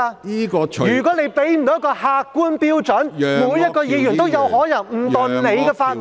如果你不能提供一個客觀標準，每位議員都有可能誤墮你的法網。